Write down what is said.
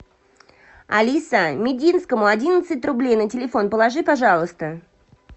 алиса мединскому одиннадцать рублей на телефон положи пожалуйста